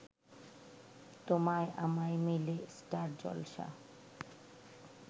তোমায় আমায় মিলে স্টার জলসা